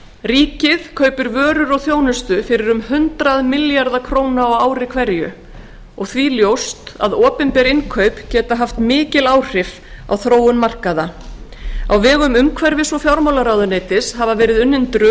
ríkið kaupir vörur og þjónustu fyrir um hundrað milljarða króna á ári hverju og því ljóst að opinber innkaup geta haft mikil áhrif á þróun markaða á vegum umhverfis og fjármálaráðuneytis hafa verið unnin drög